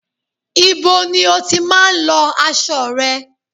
Ibo ni o tí má ń lọ aṣo rẹ?